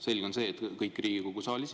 Selge on see, et kõik ei ole Riigikogu saalis.